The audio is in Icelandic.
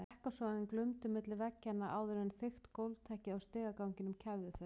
Ekkasogin glumdu milli veggjanna áður en þykkt gólfteppið á stigaganginum kæfði þau.